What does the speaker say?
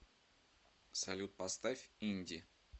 салют поставь инди